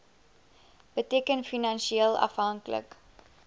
beteken finansieel afhanklik